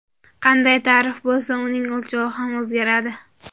Qanday ta’rif bo‘lsa, uning o‘lchovi ham o‘zgaradi.